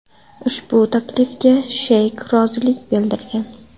Ushbu taklifga Sheyk rozilik bildirgan.